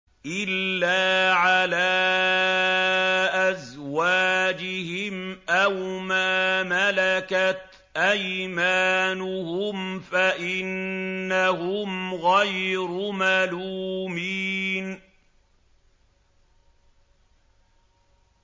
إِلَّا عَلَىٰ أَزْوَاجِهِمْ أَوْ مَا مَلَكَتْ أَيْمَانُهُمْ فَإِنَّهُمْ غَيْرُ مَلُومِينَ